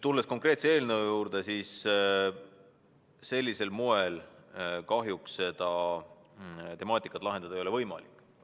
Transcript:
Tulles konkreetselt selle eelnõu juurde, siis sellisel moel seda probleemi kahjuks lahendada ei ole võimalik.